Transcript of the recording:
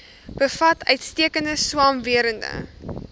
bevat uitstekende swamwerende